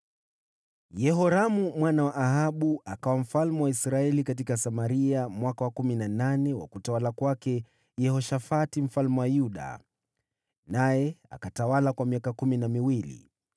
Yehoramu mwana wa Ahabu akawa mfalme wa Israeli katika Samaria mwaka wa kumi na nane wa utawala wa Yehoshafati mfalme wa Yuda, naye akatawala kwa miaka kumi na miwili.